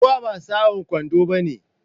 Ruwa ba sa'an kwando bane.